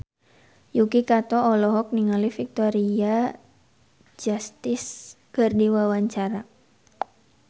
Yuki Kato olohok ningali Victoria Justice keur diwawancara